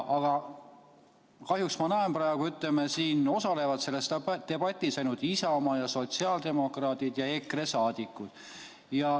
Aga kahjuks ma näen, et selles debatis osalevad ainult Isamaa liikmed, sotsiaaldemokraadid ja EKRE liikmed.